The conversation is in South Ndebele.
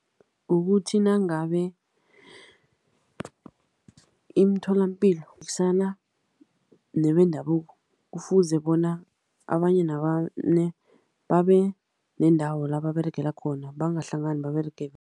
Kukuthi nangabe imitholapilo nebendabuko, kufuze bona abanye nabanye babe neendawo la baberegela khona. Bangahlangani